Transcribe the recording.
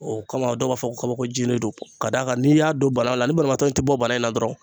O kama dɔw b'a fɔ ko kabako jiri don ka d'a kan n'i y'a don daga la la ni banabaatɔ tɛ bɔ bana la dɔrɔn